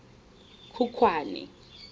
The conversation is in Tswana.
khukhwane